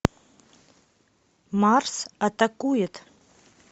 марс атакует